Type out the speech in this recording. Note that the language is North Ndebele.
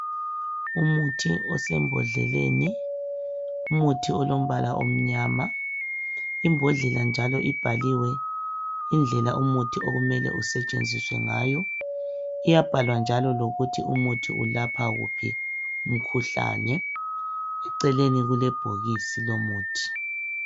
Umuthi osembodleleni. Umuthi olombala omnyama, imbodlela njalo ibhaliwe indlela umuthi okumele usetshenziswe ngayo. Yabhalwa njalo lokuthi umuthi ulapha wuphi umkhuhlane. Eceleni kulebhokisi lomuthi.